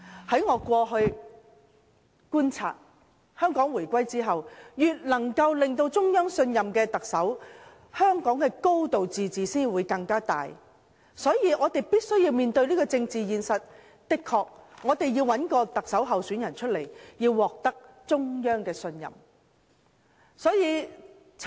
據我過去的觀察，自香港回歸後，特首越能獲得中央信任，香港便越能夠"高度自治"；這是我們必須面對的政治現實，我們確實要找一位獲得中央信任的特首候選人。